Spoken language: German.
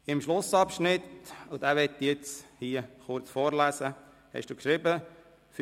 Im Schlussabschnitt – diesen will ich hier kurz vorlesen – haben Sie geschrieben: «